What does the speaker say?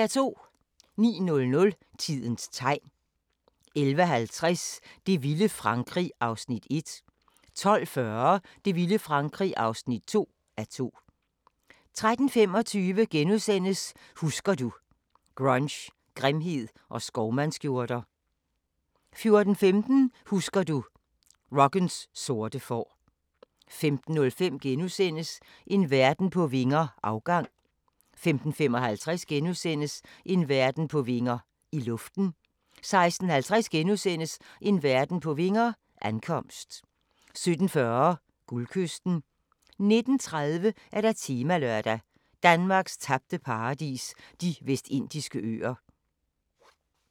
09:00: Tidens Tegn 11:50: Det vilde Frankrig (1:2) 12:40: Det vilde Frankrig (2:2) 13:25: Husker du – Grunge, grimhed og skovmandsskjorter * 14:15: Husker du – Rockens sorte får 15:05: En verden på vinger - afgang * 15:55: En verden på vinger – I luften * 16:50: En verden på vinger – Ankomst * 17:40: Guldkysten 19:30: Temalørdag: Danmarks tabte paradis – De Vestindiske Øer